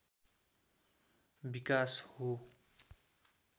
विकास हो